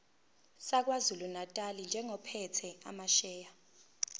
sakwazulunatali njengophethe amasheya